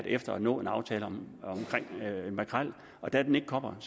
efter at nå en aftale om makrel og da den ikke kom